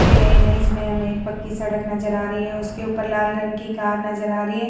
दिए गए इमेज में हमे एक पक्की सड़क नज़र आ रही है उसके ऊपर लाल रंग की कार नज़र आ रही है।